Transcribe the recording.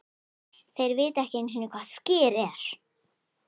Þeir vita ekki einusinni hvað Skyr ER?!